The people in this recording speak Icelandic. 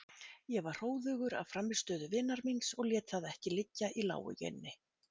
Ég var hróðugur af frammistöðu vinar míns og lét það ekki liggja í láginni.